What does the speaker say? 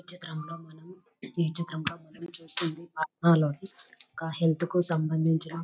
ఈ చిత్రంలో మనం ఈ చిత్రంలో మనం చూస్తున్నది పాట్న లోని ఓక హెల్త్ కి సంబంధించిన --